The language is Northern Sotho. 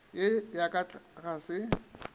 ye ya ka ga se